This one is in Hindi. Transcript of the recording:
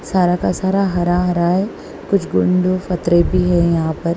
सारा का सारा हरा हरा है कुछ गुंडो फतरे भी है यहां पर।